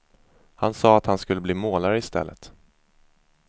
Han sa att han skulle bli målare i stället.